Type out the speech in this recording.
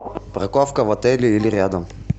парковка в отеле или рядом